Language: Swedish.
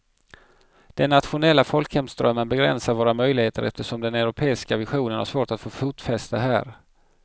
Den nationella folkhemsdrömmen begränsar våra möjligheter eftersom den europeiska visionen har svårt att få fotfäste här.